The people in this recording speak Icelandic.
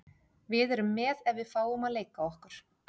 Við erum með ef við fáum að leika okkur.